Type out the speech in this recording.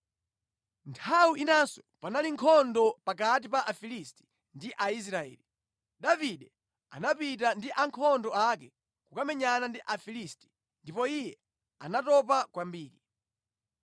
Nthawi inanso panali nkhondo pakati pa Afilisti ndi Aisraeli, Davide anapita ndi ankhondo ake kukamenyana ndi Afilisti ndipo iye anatopa kwambiri.